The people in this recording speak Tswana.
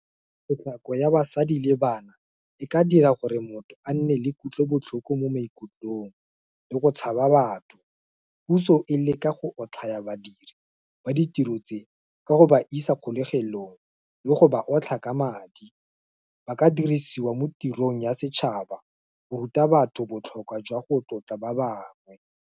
Tshotlako ya basadi le bana, e ka dira gore motho a nne le kutlobotlhoko mo maikutlong, le go tshaba batho, puso e le ka go otlhaya badiri ba di tiro tse, ka go ba isa kgolegelong, le go ba otlha, ka madi, ba ka dirisiwa mo tirong ya setšhaba, go ruta batho botlhokwa jwa go tlotla ba bangwe.